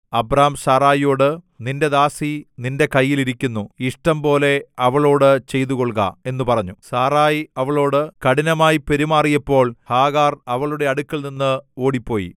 Abram സാറായിയോട് നിന്റെ ദാസി നിന്റെ കയ്യിൽ ഇരിക്കുന്നു ഇഷ്ടംപോലെ അവളോടു ചെയ്തുകൊള്ളുക എന്നു പറഞ്ഞു സാറായി അവളോടു കഠിനമായി പെരുമാറിയപ്പോൾ ഹാഗാർ അവളുടെ അടുക്കൽനിന്ന് ഓടിപ്പോയി